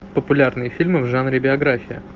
популярные фильмы в жанре биография